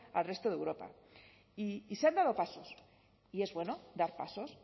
al resto de europa y se han dado pasos y es bueno dar pasos